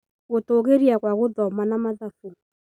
Gũtũgĩria kwa gũthoma na mathabu.